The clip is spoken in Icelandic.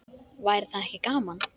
Væri það ekki gaman?